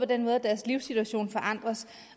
den måde at deres livssituation forandres